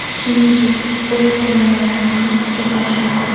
Shuningdek bo‘sh chemodanlarni ham ishga solish mumkin.